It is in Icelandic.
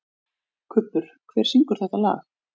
Kubbur, hver syngur þetta lag?